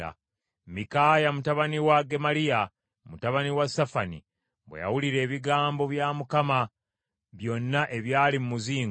Mikaaya mutabani wa Gemaliya mutabani wa Safani bwe yawulira ebigambo bya Mukama byonna ebyali mu muzingo,